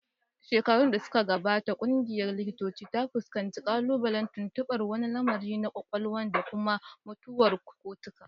Shekaru da suka gabata, ƙungiyar likitocin ta fuskanci ƙalubalen tuntuɓar wani lamari na kwakwalwa da kuma mutuwar cortical